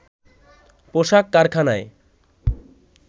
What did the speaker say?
পোশাক কারখানায়